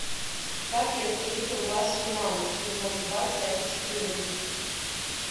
как я встретил вашу маму сезон два часть четырнадцать